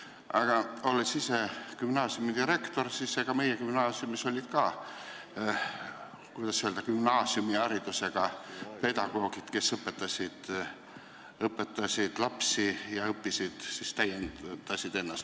Aga olnud ise gümnaasiumi direktor, saan ma öelda, et meie gümnaasiumis olid ka gümnaasiumiharidusega pedagoogid, kes õpetasid lapsi ja samal ajal täiendasid ennast.